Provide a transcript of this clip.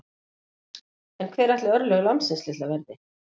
En hver ætli örlög lambsins litla verði?